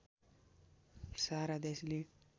सारा देशले